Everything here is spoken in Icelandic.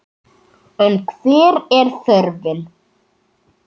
En hver er þörfin?